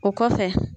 O kɔfɛ